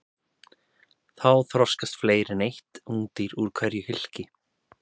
Þá þroskast fleiri en eitt ungdýr úr hverju hylki.